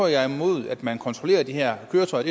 jeg er imod at man kontrollerer de her køretøjer